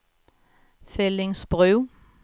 Fellingsbro